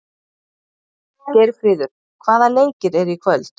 Geirfríður, hvaða leikir eru í kvöld?